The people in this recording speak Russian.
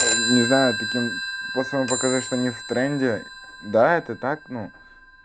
не знаю таким пацанам показать что они в тренде да это так ну